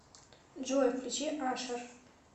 джой включи ашер